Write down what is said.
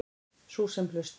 Sú sem hlustar.